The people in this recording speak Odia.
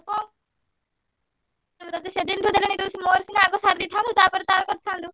ଆଉ କଣ? ତତେ ସେଦିନଠୁ ଦେଲାଣି ତୁ ମୋର ସିନା ଆଗ ସାରିଦେଇଥାନ୍ତୁ ତାପରେ ତାର କରିଥାନ୍ତୁ।